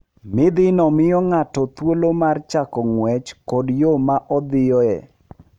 Midhino miyo ng'ato thuolo mar chiko ng'wech koda yo ma odhiyoe.